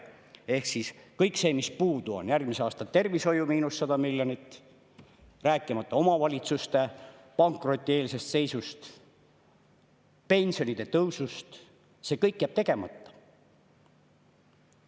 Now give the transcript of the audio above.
Ehk siis kõik see, mis puudu on – järgmise aasta tervishoiu miinus 100 miljonit, rääkimata omavalitsuste pankrotieelsest seisust ja pensionide tõusust –, jääb tegemata.